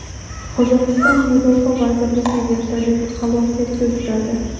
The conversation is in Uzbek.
Qozog‘iston mudofaa vazirligi vertolyoti halokatga uchradi.